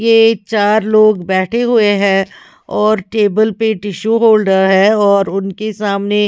ये चार लोग बैठे हुए हैं और टेबल पे टिशु होल्डर है और उनके सामने--